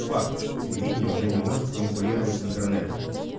факт телевидение уже не может конкурировать с интернетом